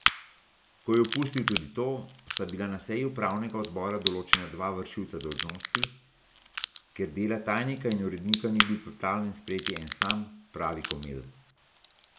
Ko je opustil tudi to, sta bila na seji upravnega odbora določena dva vršilca dolžnosti, ker dela tajnika in urednika ni bil pripravljen sprejeti en sam, pravi Komelj.